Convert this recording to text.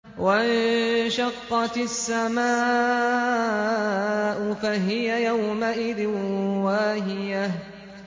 وَانشَقَّتِ السَّمَاءُ فَهِيَ يَوْمَئِذٍ وَاهِيَةٌ